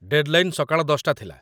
deadline ସକାଳ ୧୦ଟା ଥିଲା |